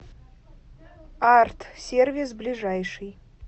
арт сервис ближайший